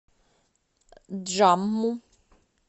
джамму